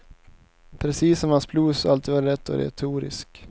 Precis som att hans blues alltid var lätt och retorisk.